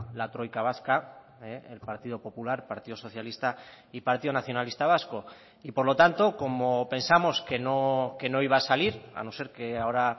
la troika vasca el partido popular partido socialista y partido nacionalista vasco y por lo tanto como pensamos que no iba a salir a no ser que ahora